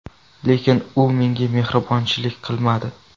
Lekin u menga mehribonchilik qilmadi.